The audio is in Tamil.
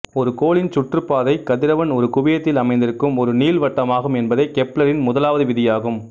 ஒரு கோளின் சுற்றுப்பாதை கதிரவன் ஒரு குவியத்தில் அமைந்திருக்கும் ஒரு நீள்வட்டமாகும் என்பதே கெப்லரின் முதலாவது விதியாகும்